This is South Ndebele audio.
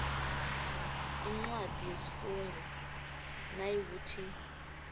incwadi yesifungo nayikuthi